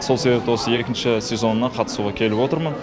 сол себепті екінші сезонына қатысуға келіп отырмын